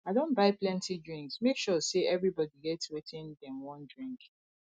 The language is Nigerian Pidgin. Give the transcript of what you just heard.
i don buy plenty drinks make sure sey everybodi get wetin dem wan drink